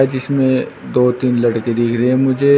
जिसमें दो तीन लड़के दिख रहे मुझे।